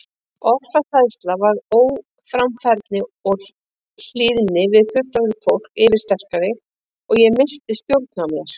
Ofsahræðsla varð óframfærni og hlýðni við fullorðna fólkið yfirsterkari og ég missti stjórn á mér.